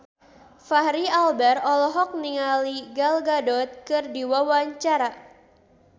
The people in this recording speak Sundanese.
Fachri Albar olohok ningali Gal Gadot keur diwawancara